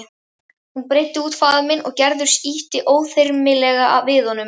Hann breiddi út faðminn og Gerður ýtti óþyrmilega við honum.